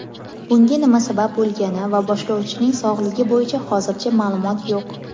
Bunga nima sabab bo‘lgani va boshlovchining sog‘ligi bo‘yicha hozircha ma’lumot yo‘q.